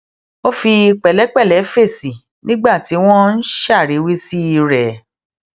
ó fi pèlépèlé fèsì nígbà tí wón ń ṣàríwísí rè